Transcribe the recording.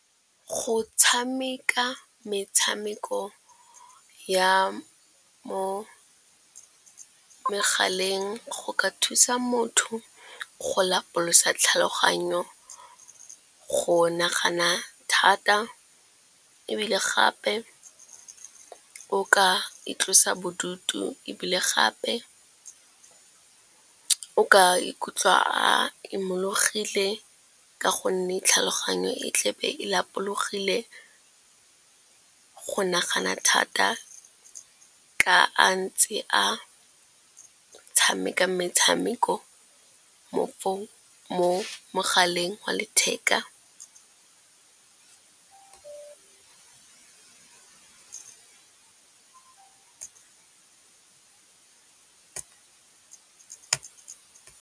Go tshameka metshameko ya mo megaleng go ka thusa motho go lapolosa tlhaloganyo, go nagana thata ebile gape o ka itlosa bodutu. Ebile gape ka ikutlwa a imololegile ka gonne tlhaloganyo e tlebe e lapologile go nagana thata ka a ntse a tshameka metshameko mo mogaleng wa letheka.